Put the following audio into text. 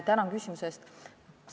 Tänan küsimuse eest!